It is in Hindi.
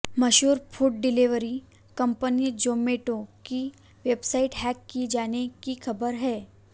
मशहूर फूड डिलीवरी कंपनी जोमैटो की वेबसाइट हैक किए जाने की खबर है